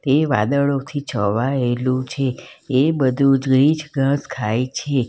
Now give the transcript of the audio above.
એ વાદળોથી છવાયેલું છે એ બધું ઝીછ ઘાસ ખાય છે.